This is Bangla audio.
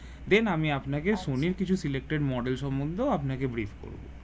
then আমি আপনাকে সনি কিছু selected model সম্বন্ধ আপনাকে brief করবো